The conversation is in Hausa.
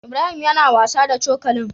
Ibrahim yAna wasa da cokalin